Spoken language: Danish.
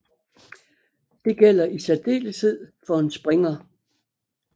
Det gælder i særdeleshed for en springer